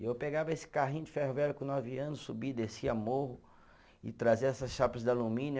E eu pegava esse carrinho de ferro velho com nove anos, subia e descia morro e trazia essas chapas de alumínio.